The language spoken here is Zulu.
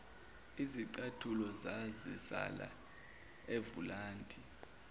izicathulo zazisala evulandi